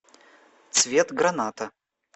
цвет граната